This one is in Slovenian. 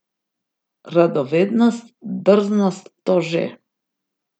Radovednost, drznost, to že.